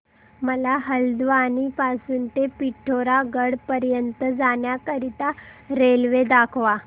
मला हलद्वानी पासून ते पिठोरागढ पर्यंत जाण्या करीता रेल्वे दाखवा